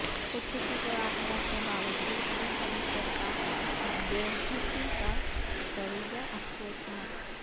خودکشی کے واقعات کے باوجود چیف منسٹر کا بے حسی کا رویہ افسوسناک